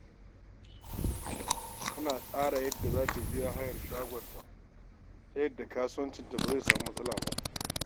Tana tsara yadda za ta biya kuɗin hayar shagoonta, ta yadda kasuwancinta ba zai samu matsala ba.